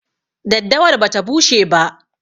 Daddawar bata bushe ba.